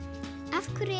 af hverju